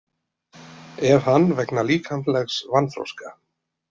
Ef hann vegna líkamlegs vanþroska.